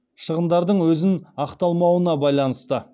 шығындардың өзін ақталмауына байланысты